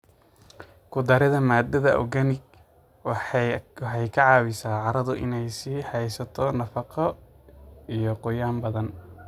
Ku darida maadada organic waxay ka caawisaa carradu inay sii haysato nafaqo iyo qoyaan badan.